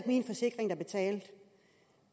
min forsikring der betalte